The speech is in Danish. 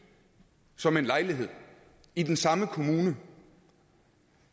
som en lejlighed i den samme kommune